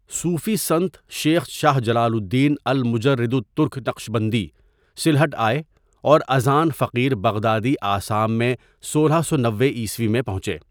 صوفی سنت، شیخ شاہ جلال الدین المجرد الترک نقشبندی، سلہٹ آئے، اور اذان فقیر بغدادی آسام میں سولہ سو نوے عیسوی میں پہنچے.